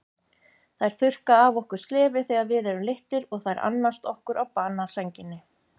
Þær þurrka af okkur slefið þegar við erum litlir og þær annast okkur á banasænginni.